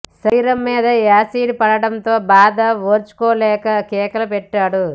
శరీరం మీద యాసిడ్ పడటంతో ఆ బాధ ఓర్చుకోలేక కేకలు పెట్టాడు